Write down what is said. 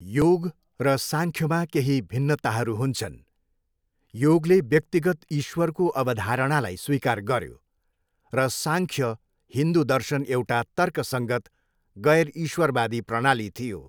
योग र साङ्ख्यमा केही भिन्नताहरू हुन्छन्, योगले व्यक्तिगत ईश्वरको अवधारणालाई स्वीकार गऱ्यो र साङ्ख्य हिन्दु दर्शन एउटा तर्कसङ्गत, गैर इश्वरवादी प्रणाली थियो।